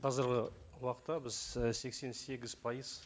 қазіргі уақытта біз і сексен сегіз пайыз